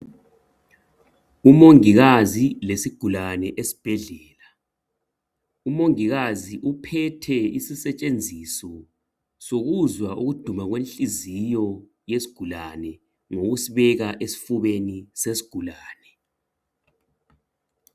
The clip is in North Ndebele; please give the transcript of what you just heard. Umongikazi lesigulane esibhedlela, umongikazi uphethe isisetshenziso sokuzwa ukuduma kwenhliziyo yesigulane ngokusibeka esifubeni sesigulane.